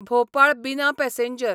भोपाळ बिना पॅसेंजर